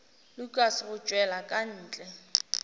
lukas go tšwela ka ntle